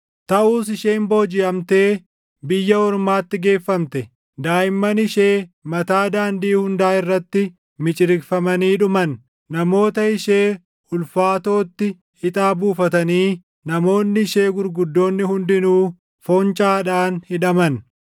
Taʼus isheen boojiʼamtee biyya ormaatti geeffamte. Daaʼimman ishee mataa daandii hundaa irratti miciriqfamanii dhuman. Namoota ishee ulfaatootti ixaa buufatanii namoonni ishee gurguddoonni hundinuu // foncaadhaan hidhaman.